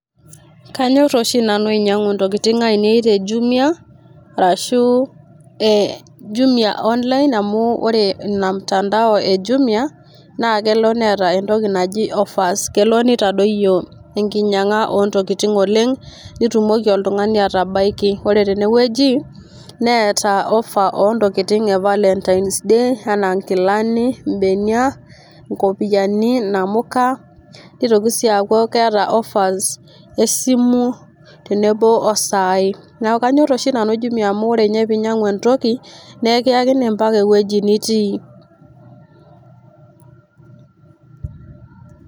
kanyorr oshi nanu ainyiang'u intokiting ainei te jumia arashu ee jumia online amu ore ina mtandao ee jumia naa kelo neeta entoki naji offers kelo nitadoyio enkinyiang'a ontokiting oleng' nitumoki oltung'ani atabaiki. ore tenewueji neeta offer ontokiting' e valentines day anaa nkilani, imbenia, inkopiyiani, inamuka nitoki sii aaku keeta offers esimu tenebo osai. neeku kanyorr oshi nanu jumia amu ore inye pinyiang'u entoki naa ekiyakini ampaka ewueji nitii.